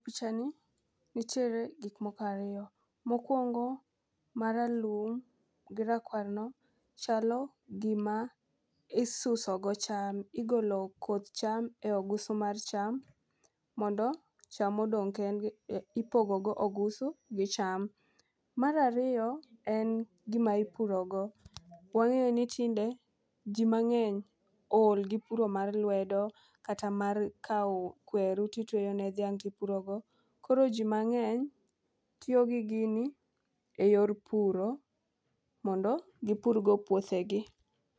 Picha ni nitiere gik moko ariyo mokwongo maralum gi rakwaro no. Chalo gima isuso go cham igolo koth cham e o gusu mar cham mondo cham odonge, ipogo go ogusu gi cham .Mar ariyo en gima ipuro go. Wang'e ni tinde jii mang'eny ool gi puro mar lwedo kata mar kawo kweru titweyo ne dhiang' tipuro go. Koro jii mang'eny tiyo gi gini e yor puro mondo gipur go puothegi.